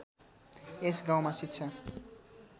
यस गाउँमा शिक्षा